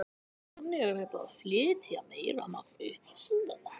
Þannig er hægt að flytja meira magn upplýsinga.